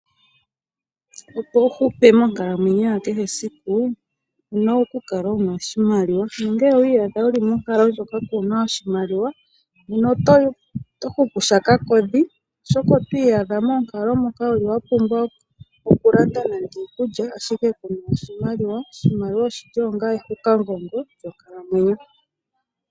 Opo wu hupe monkalamwenyo ya kehe esiku owuna oku kala wuna oshimaliwa nongele owi adha wuli monkalo moka kuna oshimaliwa nena oto hupu sha kakodhi oshoka otwii yadha wuli moonkalo moka wapumbwa okulanda nande iikulya ashike kuna oshimaliwa. Oshimaliwa oshili onga ehukamugongo lyonkalamwenyo.